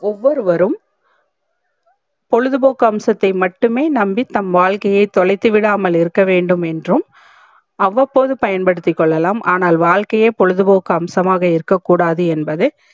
ஒவ்வொரு வரும் பொழுது போக்கு அம்சத்தை மட்டுமே நம்பி தம் வாழ்க்கையை தொலைத்து விடாமல் இருக்க வேண்டும் என்றும் அவ்வபோது பயன் படுத்திக்கொள்ள லாம் ஆனால் வாழ்க்கையே பொழுதுபோக்கு அம்சமாக இருக்க கூடாது என்பது